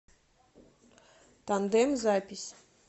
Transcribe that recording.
тандем запись